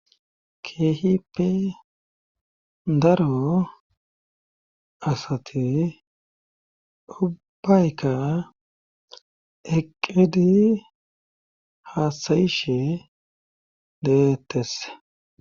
keehipi daro asati ubayka eqedi haasayishe deettese